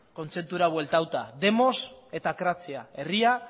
kontzeptura bueltatuta demos eta kratzia herria